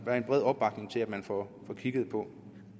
er en bred opbakning til at man får kigget på